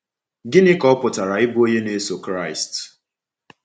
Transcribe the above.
Gịnị ka ọ pụtara ịbụ onye na-eso Kraịst?